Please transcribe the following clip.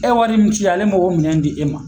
E ye wari min ci ale m'o minɛn di e ma